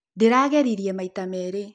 Ndĩragerĩrĩe maĩta merĩ.